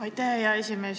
Aitäh, hea esimees!